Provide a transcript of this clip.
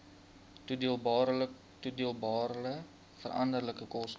toedeelbare veranderlike koste